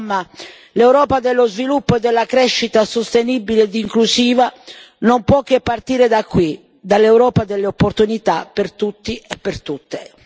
Insomma, l'Europa dello sviluppo e della crescita sostenibile ed inclusiva non può che partire da qui, dall'Europa delle opportunità per tutti e per tutte.